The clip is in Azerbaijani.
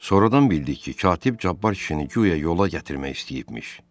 Sonradan bildik ki, katib Cabbar kişini guya yola gətirmək istəyibmiş.